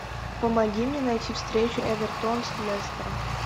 помоги мне найти встречу эвертон с лестером